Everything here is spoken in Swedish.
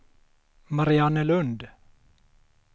Mariannelund